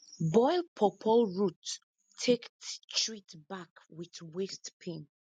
boil pawpaw root take treat back with waist pain